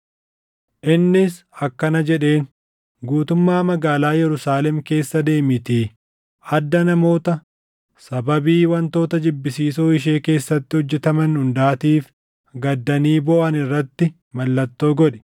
innis akkana jedheen; “Guutummaa magaalaa Yerusaalem keessa deemiitii adda namoota sababii wantoota jibbisiisoo ishee keessatti hojjetaman hundaatiif gaddanii booʼan irratti mallattoo godhi.”